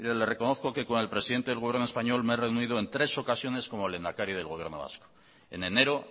le reconozco que con el presidente del gobierno español me he reunido en tres ocasiones como lehendakari del gobierno vasco en enero